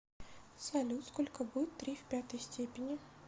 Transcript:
салют сколько будет три в пятой степени